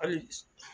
Hali